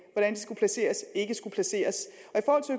af